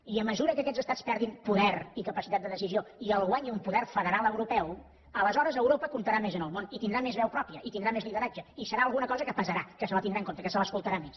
i a mesura que aquests estats perdin poder i capacitat de decisió i el guanyi un poder federal europeu aleshores europa comptarà més en el món i tindrà més veu pròpia i tindrà més lideratge i serà alguna cosa que pesarà que se la tindrà en compte que se l’escoltarà més